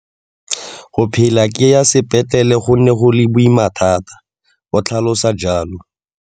Go phela ke ya sepetlele go ne go le boima thata, o tlhalosa jalo.